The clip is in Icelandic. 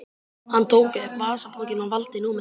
Hann tók upp vasabókina og valdi númerið.